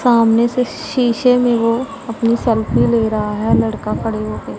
सामने से शीशे में वो अपनी सेल्फी ले रहा है लड़का खड़े हो के।